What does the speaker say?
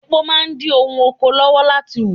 Èpo máa ń dí ohun oko lọ́wọ́ láti hù.